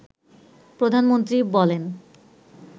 প্রধানমন্ত্রী বলেন